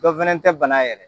Dɔ fana tɛ bana yɛrɛ.